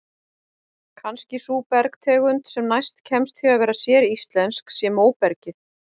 Kannski sú bergtegund sem næst kemst því að vera séríslensk sé móbergið.